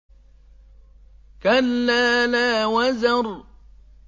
كَلَّا لَا وَزَرَ